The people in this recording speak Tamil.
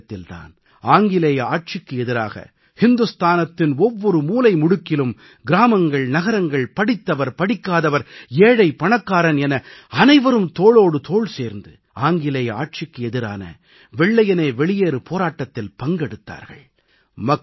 அந்த காலகட்டத்தில் தான் ஆங்கிலேயே ஆட்சிக்கு எதிராக இந்துஸ்தானத்தின் ஒவ்வொரு மூலைமுடுக்கிலும் கிராமங்கள் நகரங்கள் படித்தவர் படிக்காதவர் ஏழை பணக்காரன் என அனைவரும் தோளோடு தோள் சேர்ந்து ஆங்கிலேய ஆட்சிக்கு எதிரான வெள்ளையனே வெளியேறு போராட்டத்தில் பங்கெடுத்தார்கள்